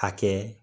Hakɛ